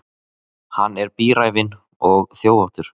Hann er bíræfinn og þjófóttur.